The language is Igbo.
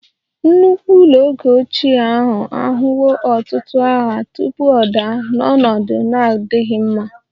Nnukwu ụlọ oge ochie ahụ ahụwo ọtụtụ agha tupu ọ daa n'ọnọdụ na-adịghị mma